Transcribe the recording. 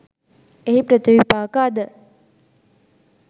එහි ප්‍රතිවිපාක අද